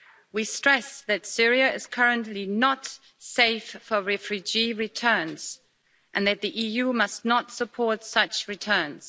We stress that Syria is currently not safe for refugee returns and that the EU must not support such returns.